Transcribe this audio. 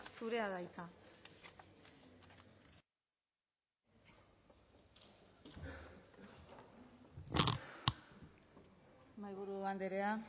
zurea da hitza mahaiburu andrea